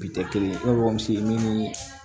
Bi tɛ kelen ye ne bamuso ni